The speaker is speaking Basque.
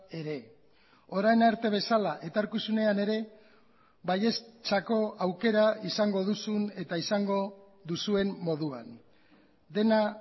ere orain arte bezala etorkizunean ere baieztzako aukera izango duzun eta izango duzuen moduan dena